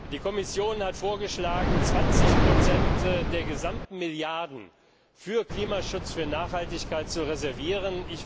Die Kommission hat vorgeschlagen, 20 der gesamten Milliarden für Klimaschutz, für Nachhaltigkeit zu reservieren.